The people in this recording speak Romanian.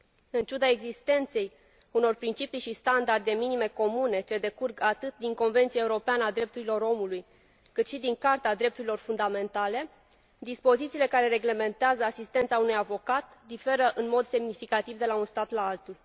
În ciuda existenței unor principii și standarde minime comune, ce decurg atât din Convenția europeană a drepturilor omului, cât și din Carta drepturilor fundamentale, dispozițiile care reglementează asistența oferită de un avocat diferă în mod semnificativ de la un stat la altul.